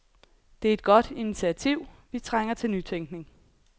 Det er et godt initiativ, vi trænger til nytænkning.